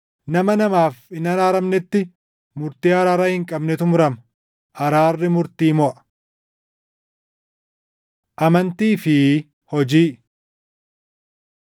nama namaaf hin araaramnetti murtii araara hin qabnetu murama. Araarri murtii moʼa. Amantii fi Hojii